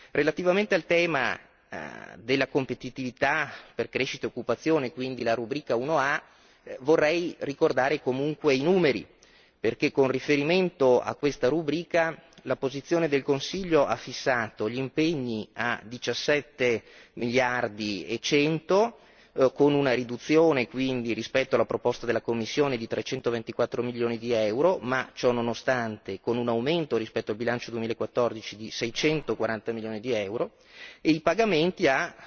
Relativamente al tema della competitività per crescita e occupazione, quindi la rubrica 1a, vorrei ricordare comunque i numeri, perché con riferimento a questa rubrica la posizione del Consiglio ha fissato gli impegni a diciassette miliardi e cento, con una riduzione quindi rispetto alla proposta della Commissione di trecentoventiquattro milioni di euro, ma ciononostante con un aumento rispetto al bilancio 2014 di seicentoquaranta milioni di euro, e i pagamenti a